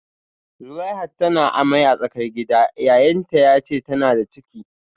Zuleihat tana amai a tsakar gida, yayanta ya ce tana da ciki